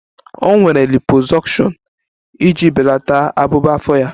O nwere liposuction iji belata abụba afọ ya